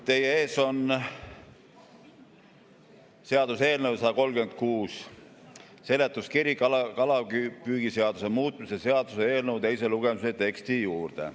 Teie ees on seaduseelnõu 136 seletuskiri kalapüügiseaduse muutmise seaduse eelnõu teise lugemise teksti juurde.